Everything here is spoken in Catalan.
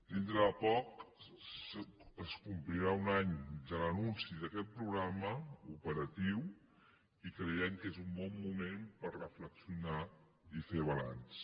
dintre de poc es complirà un any de l’anunci d’aquest programa operatiu i creiem que és un bon moment per reflexionar i fer balanç